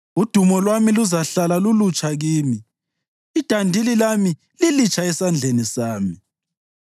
Udumo lwami luzahlala lulutsha kimi, idandili lami lilitsha esandleni sami.’